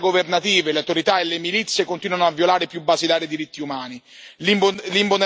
Le forze di sicurezza governative, le autorità e le milizie continuano a violare i più basilari diritti umani.